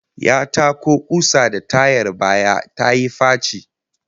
Ya tako kusa da tayar baya tayi faci